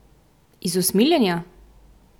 Iz usmiljenja?